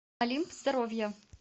олимп здоровья